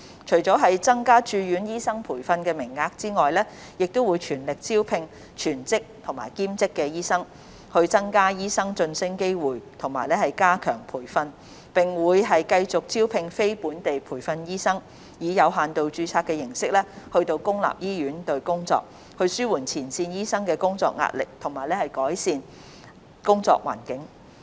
除了增加駐院醫生培訓名額，亦會全力招聘全職和兼職醫生、增加醫生晉升機會及加強培訓，並會繼續招聘非本地培訓醫生，以有限度註冊形式到公立醫院工作，紓緩前線醫生的工作壓力和改善工作環境。